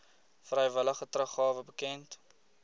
vrywillige teruggawe bekend